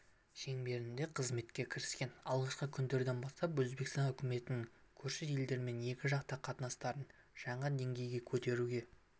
шеңберінде қызметке кіріскен алғашқы күндерден бастап өзбекстан үкіметінің көрші елдермен екіжақты қатынастарын жаңа деңгейге көтеруге